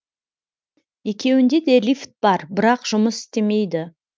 екеуінде де лифт бар бірақ жұмыс істемейді